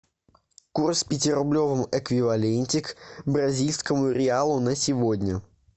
курс в пятирублевом эквиваленте к бразильскому реалу на сегодня